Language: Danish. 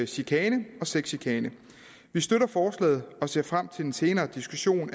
chikane og sexchikane vi støtter forslaget og ser frem til en senere diskussion om